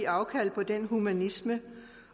afkald på den humanisme